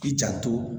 K'i janto